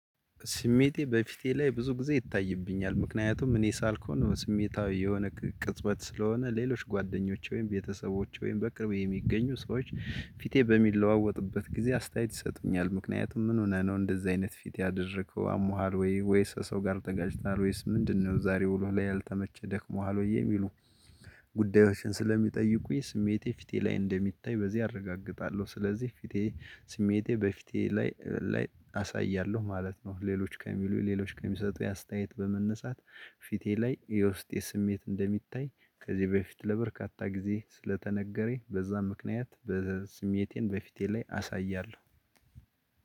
ስሜቴ በፊቴ ላይ ብዙ ጊዜ ይታይብኛል ምክንያቱም እኔ ሳልኩን ስሜታዊ የሆነ ቅጽበት ስለሆነ ሌሎች ጓደኞች ወይም ቤተሰቦች ወይም በቅርብ የሚገኙ ሰዎች ፊቴ በሚለዋወጥበት ጊዜ አስተያየት ይሰጡኛል ምክንያቱም ምን ሆነ ነው እንደዚህ አይነት ፊት ያደረከው አሞሃል ወይ ወይስ ሰው ጋር ተጋጭቷሀል ወይስ ምንድነው ዛሬ ውሎ ላይ ያልተመቸ ደክሞሃል ወይ የሚሉ ጉዳዮችን ስለሚጠይቁኝ። ስሜቴ ፊቴ ላይ እንደሚታይ በዚህ አረጋግጣለሁ ስለዚህ ፊቴ ስሜቴ በፊቴ ላይ ላይ አሳያለሁ ማለት ነው። ሌሎች ከሚሉ ሌሎች ከሚሰጡ የአስተያየት በመነሳት ፊቴ ላይ የውስጤ ስሜት እንደሚታይ ከዚህ በፊት ለበርካታ ጊዜ ስለተነገረኝ በዛ ምክንያት በስሜቴን በፊቴ ላይ አሳያለሁ።